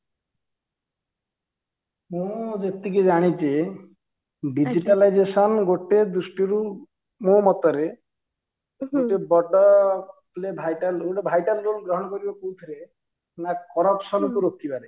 ମୁଁ ଯେତିକି ଜାଣିଚି digitalization ଗୋଟେ ଦୃଷ୍ଟି ରୁ ମୋ ମତରେ ଗୋଟେ ବଡ vital role vital role ଗ୍ରହଣ କରିବ କୋଉଥିରେ ନା corruption କୁ ରୋକିବାରେ